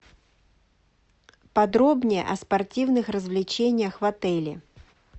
подробнее о спортивных развлечениях в отеле